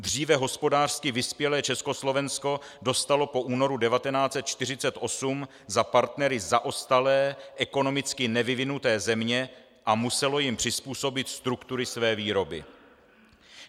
Dříve hospodářsky vyspělé Československo dostalo po únoru 1948 za partnery zaostalé, ekonomicky nevyvinuté země a muselo jim přizpůsobit struktury své výroby.